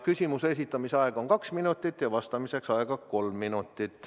Küsimuse esitamise aeg on kaks minutit, vastamiseks on aega kolm minutit.